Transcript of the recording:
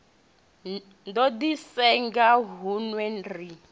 do di senga hunwe ri